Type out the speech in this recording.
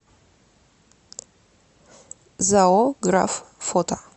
зао граф фото